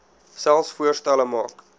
selfs voorstelle maak